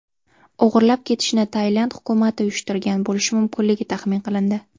O‘g‘irlab ketishni Tailand hukumati uyushtirgan bo‘lishi mumkinligi taxmin qilindi.